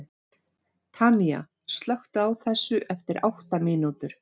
Tanía, slökktu á þessu eftir átta mínútur.